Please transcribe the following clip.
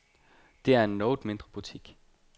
Det er en noget mindre butik.